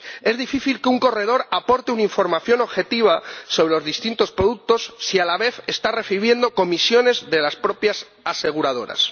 Es difícil que un corredor aporte una información objetiva sobre los distintos productos si, a la vez, está recibiendo comisiones de las propias aseguradoras.